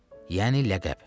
Yəni ləqəb.